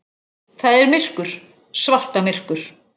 Það er myrkur, svartamyrkur.